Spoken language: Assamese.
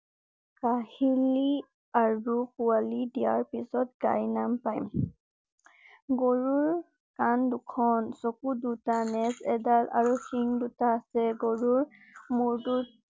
কাহিলি আৰু পোৱালি দিয়াৰ পিছত গাই নাম পাই। গৰুৰ কান দুখন, চকু দুটা, নেজ এডাল আৰু সিং দুটা আছে। গৰুৰ মুৰ তোত